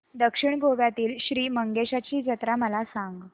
दक्षिण गोव्यातील श्री मंगेशाची जत्रा मला सांग